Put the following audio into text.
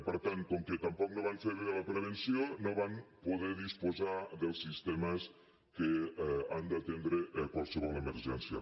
per tant com que tampoc no van fer bé la prevenció no van poder disposar dels sistemes que han d’atendre qualsevol emergència